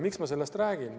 Miks ma sellest räägin?